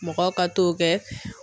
Mɔgɔw ka t'o kɛ.